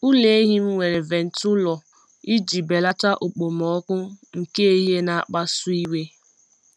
Ụlọ ehi m nwere ventụlọ iji belata okpomọkụ nke ehihie na-akpasu iwe. um